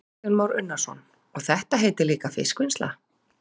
Kristján Már Unnarsson: Og þetta heitir líka fiskvinnsla?